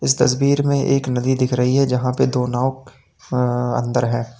तस्वीर में एक नदी दिख रही है जहां पर दो नाव अ अंदर है।